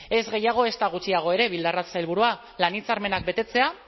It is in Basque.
ez gehiago ezta gutxiago ere bildarratz sailburua lan hitzarmenak betetzea